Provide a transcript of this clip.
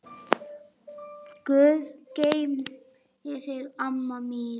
Guð geymi þig, amma mín.